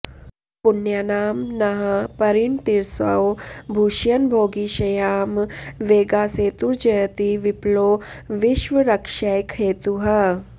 पुण्यानां नः परिणतिरसौ भूषयन् भोगिशय्यां वेगासेतुर्जयति विपुलो विश्वरक्षैकहेतुः